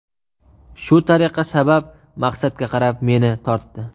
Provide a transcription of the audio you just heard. Shu tariqa sabab maqsadga qarab meni tortdi.